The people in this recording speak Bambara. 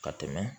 Ka tɛmɛ